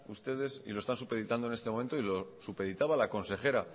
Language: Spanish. ustedes y lo están supeditando en este momento y lo supeditaba la consejera